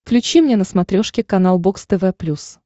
включи мне на смотрешке канал бокс тв плюс